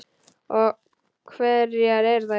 Og hverjar eru þær?